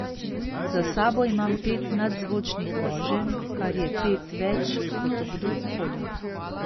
Za sabo imam pet nadzvočnih voženj, kar je pet več kot kdorkoli.